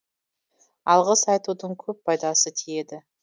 алғыс айтудың көп пайдасы тиеді